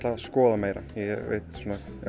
að skoða meira ég veit